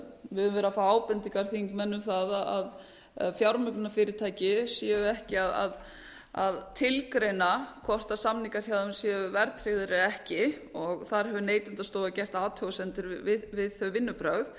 við höfum verið að fá ábendingar þingmanna um það að fjármögnunarfyrirtæki séu ekki að tilgreina hvort samningar hjá þeim séu verðtryggðir eða ekki þar hefur neytendastofa gert athugasemdir við þau vinnubrögð